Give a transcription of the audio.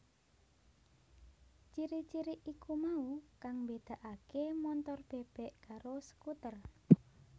Ciri ciri iku mau kang mbédakaké montor bèbèk karo skuter